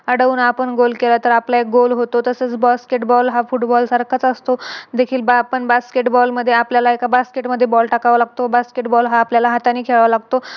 अडवून आपण Goal केले तर आपले Goal होतो. तसच Basketball हा Football सारखाच असतो. देखील बा आपण Basketball मध्ये आपल्याला एका Basket मध्ये Ball टाकावा लागतो. Basketball हा आपल्याला हाताने खेळावा लागतो.